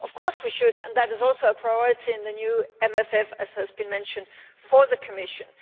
Of course we should, and that is also a priority in the new MFF, as has been mentioned by the Commission.